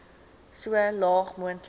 so laag moontlik